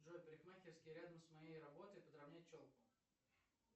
джой парикмахерские рядом с моей работой подровнять челку